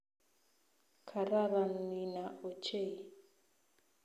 Kararan Nina ochei